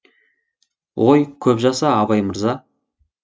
ой көп жаса абай мырза